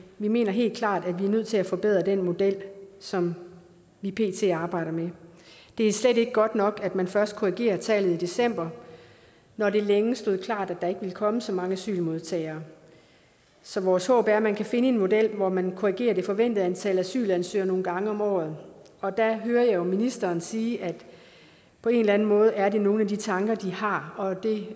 vi mener helt klart at vi er nødt til at forbedre den model som vi pt arbejder med det er slet ikke godt nok at man først korrigerer tallet i december når det længe stod klart at der ikke ville komme så mange asylmodtagere så vores håb er at man kan finde en model hvor man korrigerer det forventede antal asylansøgere nogle gange om året og der hører jeg jo ministeren sige at på en eller anden måde er det nogle af de tanker de har og det